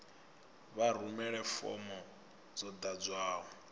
vha rumele fomo yo ḓadzwaho